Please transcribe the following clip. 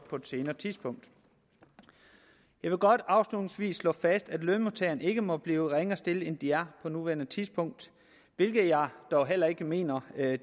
på et senere tidspunkt jeg vil godt afslutningsvis slå fast at lønmodtagerne ikke må blive ringere stillet end de er på nuværende tidspunkt hvilket jeg dog heller ikke mener